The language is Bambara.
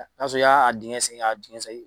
Y'a sɔrɔ i y'a dingɛ sen k'a dingɛ sɛgin